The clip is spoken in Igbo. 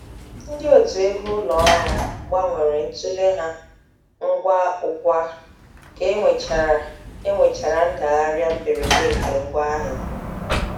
Ndị otu ego ụlọ ọrụ gbanwere ntule ha ngwa ugwa ka e nwechara e nwechara ndagharịa mberede nke ngwa ahịa.